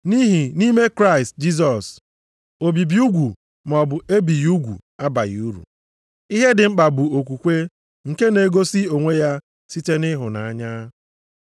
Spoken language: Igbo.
Nʼihi nʼime Kraịst Jisọs, obibi ugwu maọbụ ebighị ugwu abaghị uru. Ihe dị mkpa bụ okwukwe nke na-egosi onwe ya site nʼịhụnanya.